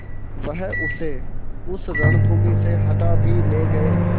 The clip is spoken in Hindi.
वह उसे उस रणभूमि से हटा भी ले गये